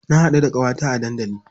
Na haɗu da ƙawata a dandali.